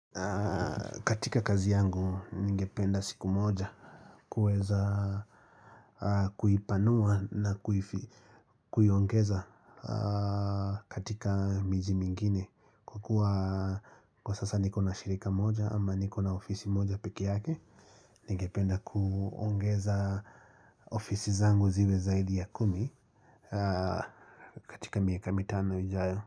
Katika kazi yangu ningependa siku moja kuweza kuipanua na kuifi kuiongeza katika miji mingine kwa kua kwa sasa niko na shirika moja ama niko na ofisi moja pike yake ningependa kuongeza ofisi zangu ziwe zaidi ya kumi katika miaka mitano ijayo.